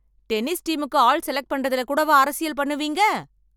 Tennis டீமுக்கு ஆள் select பண்றதுல கூடவா அரசியல் பண்ணுவீங்க?